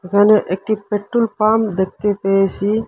এখানে একটি petrol pump দেখতে পেয়েসি।